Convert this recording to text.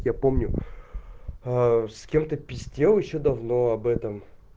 я помню с кем-то пиздел ещё давно об этом